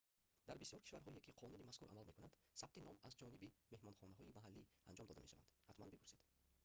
дар бисёр кишварҳое ки қонуни мазкур амал мекунад сабти ном аз ҷониби меҳмонхонаҳои маҳаллӣ анҷом дода мешаванд ҳатман бипурсед